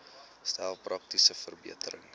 stel praktiese verbeterings